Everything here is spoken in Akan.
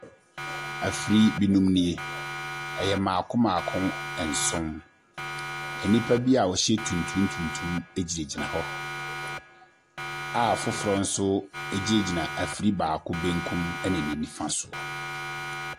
Afiri binom nie. Ɛyɛ maako maako nson nnipa bia wɔhyɛ tuntum tuntum gyinagyina hɔ, a foforo nso gyingyina afiri baako kɔn mu de biribi refam soɔ.